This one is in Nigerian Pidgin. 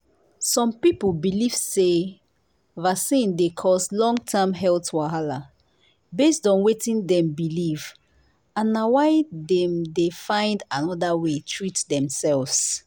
some people believe say vaccine dey cause long-term health wahala based on wetin dem believe and na why dem dey find another way treat themselves.